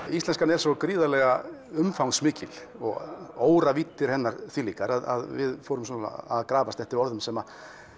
íslenskan er svo gríðarlega umfangsmikil og óravíddir hennar þvílíkar að við fórum að grafast eftir orðum sem